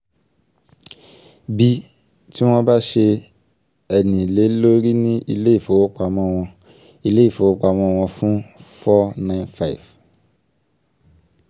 b) tí wọn bá ṣe ẹ̀nì lè lórí ní ilé ìfowopamọ́ wọn ilé ìfowopamọ́ wọn fún 495